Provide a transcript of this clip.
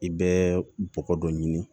I bɛ bɔgɔ dɔ ɲini